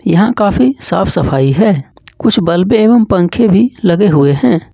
यहां काफी साफ सफाई है कुछ बल्बे एवं पंखे भी लगे हुए हैं।